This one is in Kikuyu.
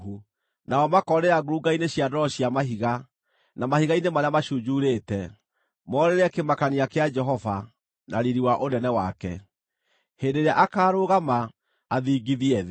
Nao makoorĩra ngurunga-inĩ cia ndwaro cia mahiga, na mahiga-inĩ marĩa macunjurĩte morĩre kĩmakania kĩa Jehova na riiri wa ũnene wake, hĩndĩ ĩrĩa akaarũgama, athingithie thĩ.